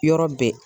Yɔrɔ bɛɛ